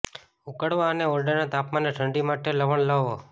ઉકળવા અને ઓરડાના તાપમાને ઠંડી માટે લવણ લાવો